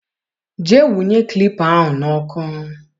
Jee nwụnye klipa ahụ n'ọkụ.